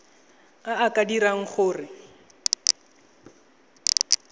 a a ka dirang gore